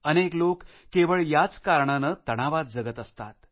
अनेक लोक केवळ याच कारणाने तणावात जगत असतात